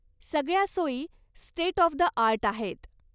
सगळ्या सोयी state of the art आहेत.